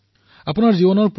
আপোনালোকৰ জীৱন ব্যাপক হব